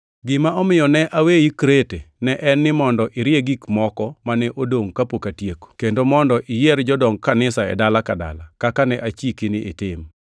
Gima omiyo ne aweyi Krete ne en ni mondo irie gik moko mane odongʼ kapok atieko, kendo mondo iyier jodong kanisa e dala ka dala, kaka ne achiki ni itim.